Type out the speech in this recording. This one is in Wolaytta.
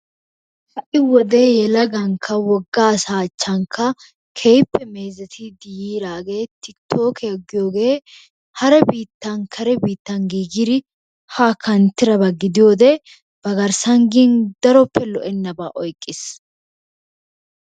Ha'i wode yelagankka woga asaa achchankka keehippe meezetidi yiiraageeti tikkitookkiya giyoogee hara biittan kare biittan giigidi haa kanttidaba gidiyode, ba garssan gin daroppe lo'ennaba oyqqiis.